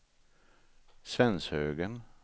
Svenshögen